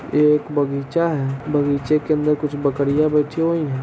यह एक बगीचा है| बगीचे के अंदर कुछ बकरियाँ बैठी हुई हैं।